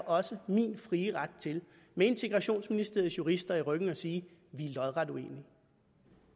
også min frie ret til med integrationsministeriets jurister i ryggen at sige at vi er lodret uenige